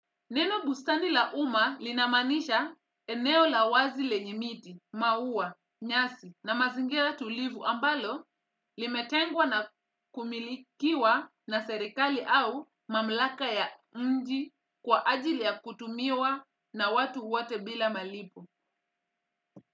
Neno bustani la umma linamaanisha eneo la wazi lenye miti, maua, nyasi na mazingira tulivu ambalo limetengwa na kumilikiwa na serekali au mamlaka ya mji kwa ajili ya kutumiwa na watu wote bila malipo.